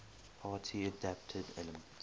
party adapted elements